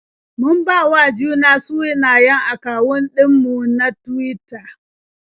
Mun bawa juna sunayen akawun ɗin mu na Tuwita.